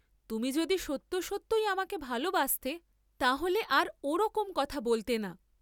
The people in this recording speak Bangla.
তুমি যদি সত্য সত্যই আমাকে ভালবাসতে তা হলে আর ও রকম কথা বলতে না।